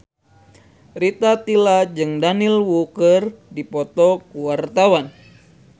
Rita Tila jeung Daniel Wu keur dipoto ku wartawan